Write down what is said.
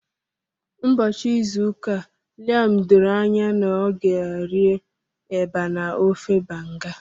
Ụbọchị izu ụka Liam doro anya na ọ ga-rie eba na ofe Banga.